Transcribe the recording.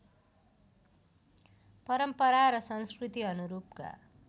परम्परा र संस्कृति अनुरूपका